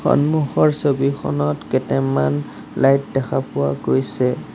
সন্মুখৰ ছবিখনত কেতেমান লাইট দেখা পোৱা গৈছে।